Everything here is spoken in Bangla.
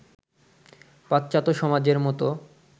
পাশ্চাত্য সমাজের মতো